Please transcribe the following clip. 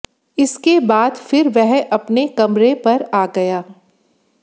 इसके बाद फिर वह अपने कमरे पर आ गया